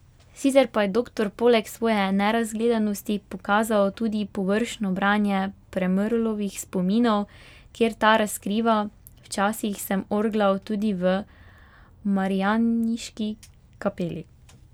Sicer pa je doktor poleg svoje nerazgledanosti pokazal tudi površno branje Premrlovih spominov, kjer ta razkriva: 'Včasih sem orglal tudi v Marijaniški kapeli.